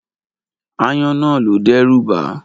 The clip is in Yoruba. Aáyán náà lo dẹ́rùbaá.